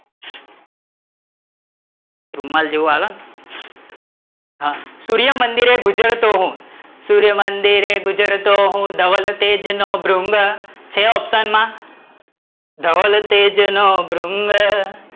રૂમાલ જેવું આવે ને, સૂર્યમંદિરે ગુજરતો હું, સૂર્યમંદિરે ગુજરતો હું ધવલતેજ નો ભૃંગ, છે option માં? ધવલતેજ નો ભૃંગ,